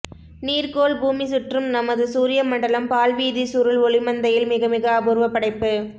நீர்க்கோள் பூமி சுற்றும் நமது சூரிய மண்டலம் பால்வீதிச் சுருள் ஒளிமந்தையில் மிக மிக அபூர்வப் படைப்பு